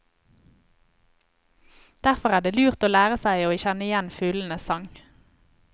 Derfor er det lurt å lære seg å kjenne igjen fuglenes sang.